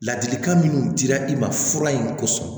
Ladilikan minnu dira i ma fura in kosɔn